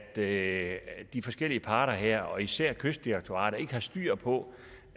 at at de forskellige parter her og især kystdirektoratet ikke har styr på